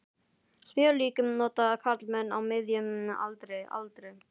Smjörlíki nota karlmenn á miðjum aldri aldrei.